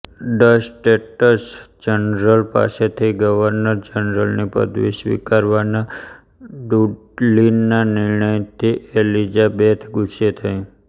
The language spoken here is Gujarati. ડચ સ્ટેટ્સજનરલ પાસેથી ગવર્નર જનરલની પદવી સ્વીકારવાના ડુડલીના નિર્ણયથી એલિઝાબેથ ગુસ્સે થઇ